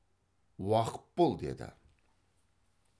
уақып бол деді